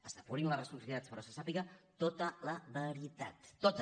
es depurin les responsabilitats però se sàpiga tota la veritat tota